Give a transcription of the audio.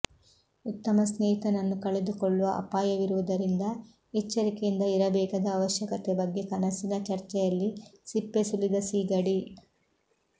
ಉತ್ತಮ ಸ್ನೇಹಿತನನ್ನು ಕಳೆದುಕೊಳ್ಳುವ ಅಪಾಯವಿರುವುದರಿಂದ ಎಚ್ಚರಿಕೆಯಿಂದ ಇರಬೇಕಾದ ಅವಶ್ಯಕತೆ ಬಗ್ಗೆ ಕನಸಿನ ಚರ್ಚೆಯಲ್ಲಿ ಸಿಪ್ಪೆ ಸುಲಿದ ಸೀಗಡಿ